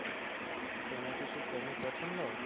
তোমার কি শুটকি অনেক পছন্দ?